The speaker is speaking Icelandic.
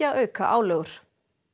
að auka álögur